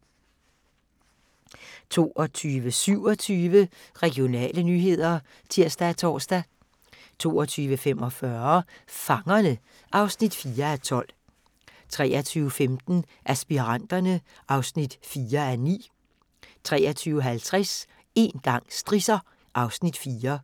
22:27: Regionale nyheder (tir og tor) 22:45: Fangerne (4:12) 23:15: Aspiranterne (4:9) 23:50: Én gang strisser (Afs. 4)